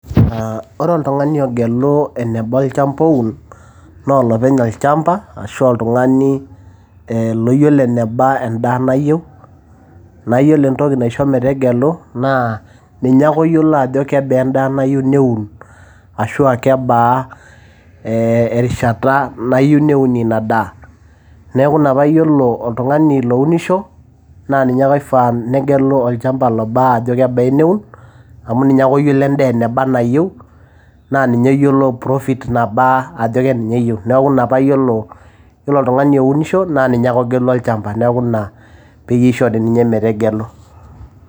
aa ore oltungani ogelu eneba olchamba oun naa olopeny olchamba ashuaa oltngani loyiolo eneba endaa nayieu. naa yiolo entoki naisho metegelu naa ninye ake oyiolo ajo kebaa endaa nayieu neun ashwaa kebaa erishata nayieu neun ina daa .neku ina pa yiolo oltngani onisho na ninye ake oifaa negelu lobaa ajo kebaa eneun amu ninye oyiolo endaa eneba enayieu naa ninye oyiiolo profit nabaa ajo keneninye oyieu. nna paa iyiolo oltungani ounisho naa ninye ake oyiolo olchamba neku ina pishori ninye metegelu.